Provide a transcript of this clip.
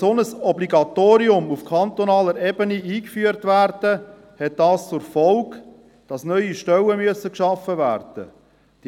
Sollte ein solches Obligatorium auf kantonaler Ebene eingeführt werden, hätte dies zur Folge, dass neue Stellen geschaffen werden müssen.